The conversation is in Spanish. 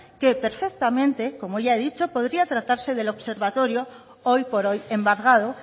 que perfectamente como ya he dicho podría tratarse del observatorio hoy por hoy embargado